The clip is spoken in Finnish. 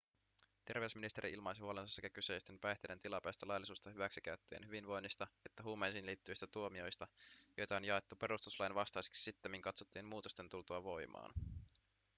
terveysministeri ilmaisi huolensa sekä kyseisten päihteiden tilapäistä laillisuutta hyväksikäyttävien hyvinvoinnista että huumeisiin liittyvistä tuomioista joita on jaettu perustuslain vastaisiksi sittemmin katsottujen muutosten tultua voimaan